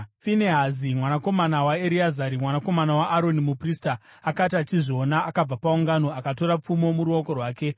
Finehasi mwanakomana waEreazari, mwanakomana waAroni, muprista, akati achizviona, akabva paungano, akatora pfumo muruoko rwake;